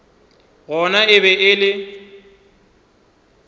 gona e be e le